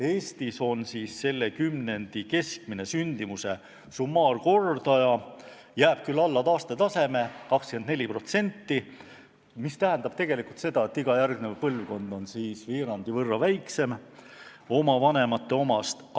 Eestis on selle kümnendi keskmine sündimuse summaarkordaja selline, et see jääb 24% alla taastetaseme, mis tähendab tegelikult seda, et iga järgnev põlvkond on veerandi võrra väiksem oma vanemate omast.